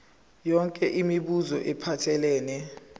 yonke imibuzo ephathelene